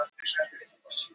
Þetta á þó ekki við almennt.